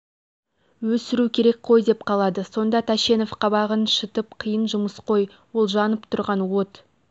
өсіру керек қой деп қалады сонда тәшенов қабағын шытып қиын жұмыс қой ол жанып тұрған от